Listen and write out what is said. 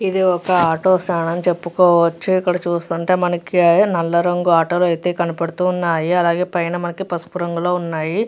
ఇది ఒక auto stand అని చెపుకోవచ్చు ఇక్కడ చూస్తుంటే మనకి నల్ల రంగు ఆటోలు ఐతే కనపడుతున్నాయి అలాగే పైన పసుపు రంగు లో ఉన్నాయి.